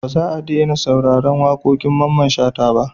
Ba za a daina sauraron waƙoƙin Mamman Shata ba.